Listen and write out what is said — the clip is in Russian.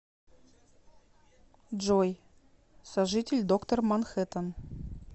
джой сожитель доктор манхэттан